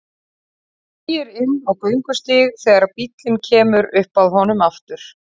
Beygir inn á göngustíg þegar bíllinn kemur upp að honum aftur.